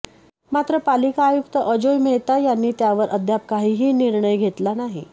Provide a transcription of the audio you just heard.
मात्र पालिका आयुक्त अजोय मेहता यांनी त्यावर अद्याप काहीही निर्णय घेतला नाही